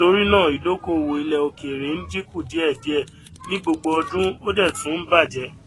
torí náà ìdókòwò ilẹ òkèèrè ń dínkùdíẹdíẹ ni gbogbo ọdún ó dẹ tún bàjẹ